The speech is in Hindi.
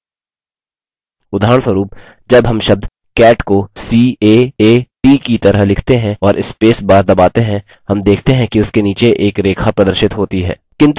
उदाहरणस्वरुप जब हम शब्द cat को caat की तरह लिखते हैं और spacebar दबाते हैं हम देखते हैं कि उसके नीचे एक रेखा प्रदर्शित होती है